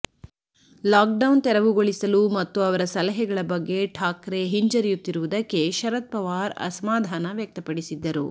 lockdown ತೆರವುಗೊಳಿಸಲು ಮತ್ತು ಅವರ ಸಲಹೆಗಳ ಬಗ್ಗ ಠಾಕ್ರೆ ಹಿಂಜರಿಯುತ್ತಿರುವುದಕ್ಕೆ ಶರದ್ ಪವಾರ್ ಅಸಮಾಧಾನ ವ್ಯಕ್ತಪಡಿಸಿದ್ದರು